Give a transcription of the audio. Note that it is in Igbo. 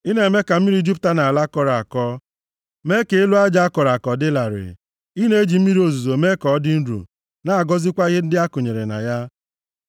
Ị na-eme ka mmiri jupụta nʼala a kọrọ akọ mee ka elu aja a kọrọ akọ dị larịị; ị na-eji mmiri ozuzo eme ka ọ dị nro, na-agọzikwa ihe ndị akụnyere na ya.